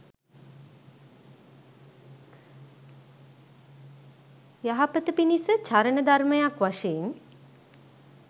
යහපත පිණිස චරණ ධර්මයක් වශයෙන්